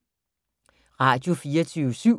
Radio24syv